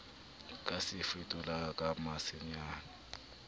ka se fetolang ka masenenyana